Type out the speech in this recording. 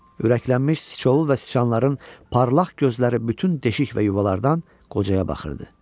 Ürəklənmiş siçovul və siçanların parlaq gözləri bütün deşik və yuvalardan qocaya baxırdı.